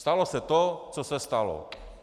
Stalo se to, co se stalo.